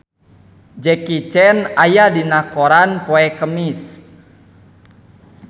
Jackie Chan aya dina koran poe Kemis